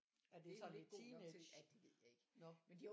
Det er ikke sådan lidt god nok til ja det ved jeg ikke